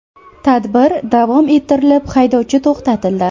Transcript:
Tadbir davom ettirilib, haydovchi to‘xtatildi.